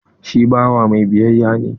Shi bawa mai biyayya ne.